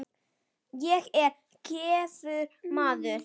Ég er giftur maður.